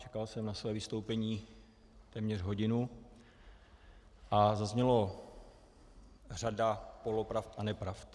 Čekal jsem na své vystoupení téměř hodinu a zazněla řada polopravd a nepravd.